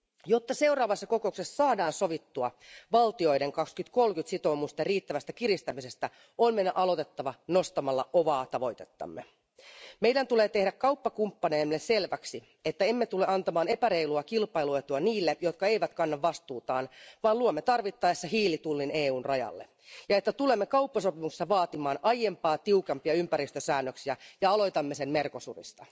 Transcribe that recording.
Jotta seuraavassa kokouksessa saadaan sovittua valtioiden 2030 sitoumusten riittävästä kiristämisestä, on meidän aloitettava nostamalla kovaa tavoitettamme. Meidän tulee tehdä kauppakumppaneillemme selväksi, ettemme tule antamaan epäreilua kilpailuetua niille, jotka eivät kanna vastuutaan, vaan luomme tarvittaessa hiilitullin EUn rajalle, ja että tulemme kauppasopimukselta vaatimaan aiempaa tiukempia ympäristösäännöksiä ja aloitamme sen Mercosurista.